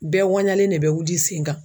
Bɛɛ ŋuwanɲalen ne bɛ wuli sen kan.